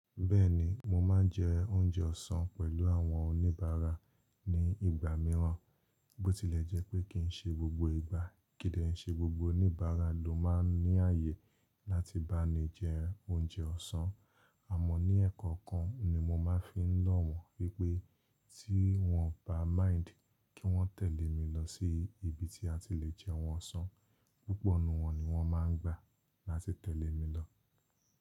Bẹ́ẹ̀ni, mo máa ń jẹ oúnjẹ ọ̀sán pẹ̀lú àwọn oníbàárà ní ìgbà mìíràn. Bó tilẹ̀ jẹ́ pé kí n ṣe gbogbo ìgbà, kí n dè ṣe gbogbo oníbàárà ló máa ń ní ààyè láti bá mi jẹ oúnjẹ ọ̀sán. Àmọ́ ní ẹ̀ẹ̀kan kan ni mo máa fi ń lọ̀ wọ́n. Wi pé tí wọ́n bá mind kí wọ́n tẹ̀lé mi lọ sí ibi tí a ti le jẹun ọ̀sán, púpọ̀ ínú wọn ni wọ́n máa ń gbà láti tẹ̀lé mi lọ.